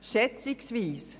«Schätzungsweise»: